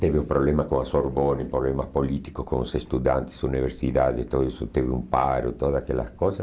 Teve o problema com a Sorbonne, problemas políticos com os estudantes, universidades, tudo isso teve um paro, todas aquelas coisas.